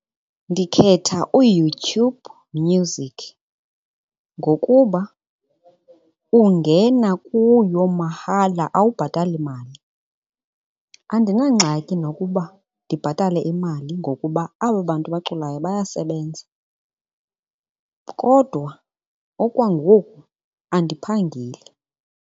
Ndikhetha uYoutube Music ngokuba ungena kuyo mahala, awubhatali mali. Andinangxaki nokuba ndibhatale imali ngokuba aba bantu baculayo bayasebenza, kodwa okwangoku andiphangeli.